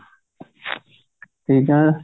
ਠੀਕ ਹੈ